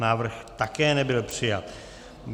Návrh také nebyl přijat.